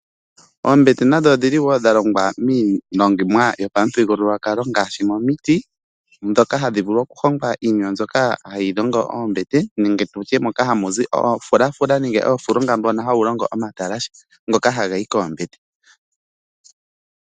Oombete nadho odhili woo longwa miilongomwa yopamuthigululwakalo ngaashi momiti ndhoka hadhivulu okuhonga iinima mbyoka hayi longo oombete nenge moka hamu zi oofulafula nenge oofulunga mbono hawu longo omatalashe ngoka haga yi koombete .